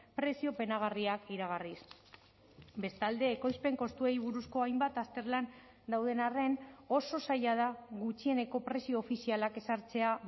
prezio penagarriak iragarriz bestalde ekoizpen kostuei buruzko hainbat azterlan dauden arren oso zaila da gutxieneko prezio ofizialak ezartzea